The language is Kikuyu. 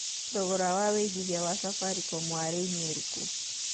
thogora wa wĩigĩthĩa wa safaricom wa rĩũ nĩ ũrĩkũ